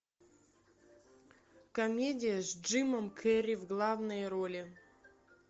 комедия с джимом керри в главной роли